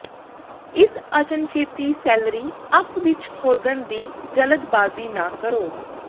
ਇਸ ਅਚਨਚੇਤੀ celery up ਵਿੱਚ ਖੋਦਣ ਦੀ ਜਲਦਬਾਜ਼ੀ ਨਾ ਕਰੋ